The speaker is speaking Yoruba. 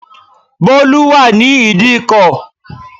Bólú wà ní ìdíkò